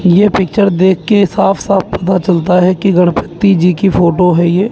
ये पिक्चर देख के साफ साफ पता चलता है कि गणपति जी की फोटो है ये।